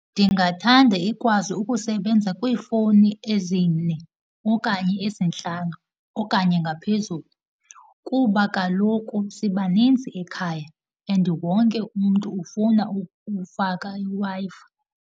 Ndingathanda ikwazi ukusebenza kwiifowuni ezine okanye ezintlanu okanye ngaphezulu, kuba kaloku sibaninzi ekhaya and wonke umntu ufuna ukufaka iWi-Fi.